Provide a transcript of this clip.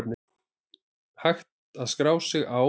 Hægt að skrá sig á